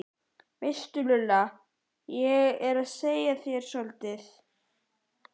veistu Lulla, á ég að segja þér soldið?